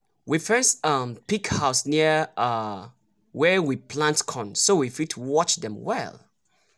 we fence um pig house near um where we plant corn so we fit watch dem well.